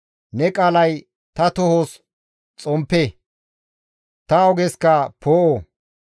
Ne qaalay ta tohos xomppe; ta ogeska poo7o.